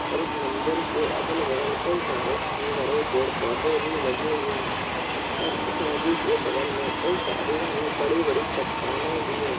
और इस मंदिर के अगल बगल कई सारे हरे-भरे पेड़-पौधे भी लगे हुए हैं और इस नदी के बगल में कई सारी हरी बड़ी-बड़ी चट्टानें भी हैं।